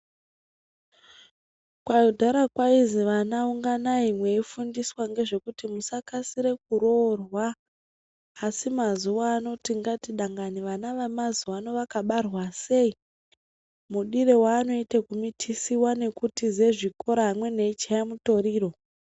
Kudhara kwainzi vana unganai veifundiswa ngezvekuti musakasira kuroorwa asi mazuva ano tingati dangani vana vemazuva ano vakabarwa sei, mudiro wavanoita kumitisiwa nekutiza zvikora. Amweni veichaya mutoriro.